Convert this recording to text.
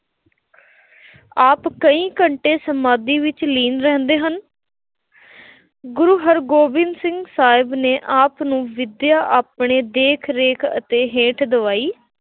ਆਪ ਕਈ-ਕਈ ਘੰਟੇ ਸਮਾਧੀ ਵਿੱਚ ਲੀਨ ਰਹਿੰਦੇ ਹਨ। ਗੁਰੂ ਹਰਗੋਬਿੰਦ ਸਿੰਘ ਸਾਹਿਬ ਨੇ ਆਪ ਨੂੰ ਵਿੱਦਿਆ ਆਪਣੇ ਦੇਖ-ਰੇਖ ਅਤੇ ਹੇਠ ਦਿਵਾਈ